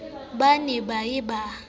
ba ne ba ye ba